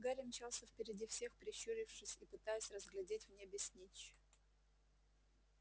гарри мчался впереди всех прищурившись и пытаясь разглядеть в небе снитч